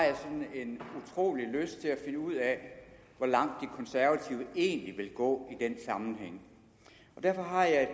finde ud af hvor langt de konservative egentlig vil gå i den sammenhæng derfor har jeg et